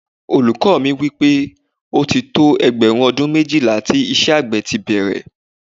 Olùkọ́ mi sọ wípé, ó ti tó ẹgbẹ̀rún ọdún méjìlá tí iṣẹ́ àgbẹ̀ ti bẹ̀rẹ̀